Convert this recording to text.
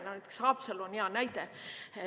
Näiteks Haapsalu on hea näide.